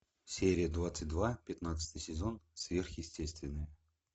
серия двадцать два пятнадцатый сезон сверхъестественное